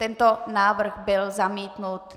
Tento návrh byl zamítnut.